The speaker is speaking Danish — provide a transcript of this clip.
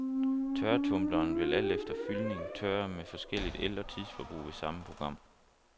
Tørretumbleren vil, alt efter fyldning, tørre med forskelligt el- og tidsforbrug ved samme program.